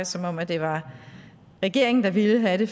som at det var regeringen der ville have